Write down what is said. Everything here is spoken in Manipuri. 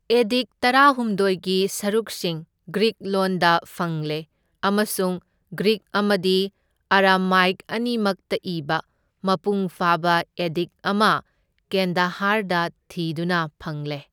ꯑꯦꯗꯤꯛ ꯇꯔꯥꯍꯨꯝꯗꯣꯢꯒꯤ ꯁꯔꯨꯛꯁꯤꯡ ꯒ꯭ꯔꯤꯛ ꯂꯣꯟꯗ ꯐꯪꯂꯦ, ꯑꯃꯁꯨꯡ ꯒ꯭ꯔꯤꯛ ꯑꯃꯗꯤ ꯑꯔꯥꯃꯥꯏꯛ ꯑꯅꯤꯃꯛꯇ ꯏꯕ ꯃꯄꯨꯡ ꯐꯥꯕ ꯑꯦꯗꯤꯛ ꯑꯃ ꯀꯦꯟꯗꯍꯥꯔꯗ ꯊꯤꯗꯨꯅ ꯐꯪꯂꯦ꯫